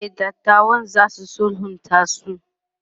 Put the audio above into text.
e datawan zasu sulhunta su